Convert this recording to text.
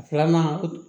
Filanan